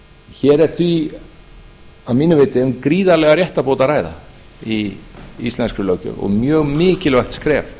hér er því að mínu viti um gríðarlega réttarbót að ræða í íslenskri löggjöf og mjög mikilvægt skref